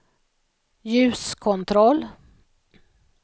ljuskontroll